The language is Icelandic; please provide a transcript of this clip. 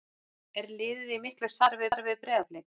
Er liðið í miklu samstarfi við Breiðablik?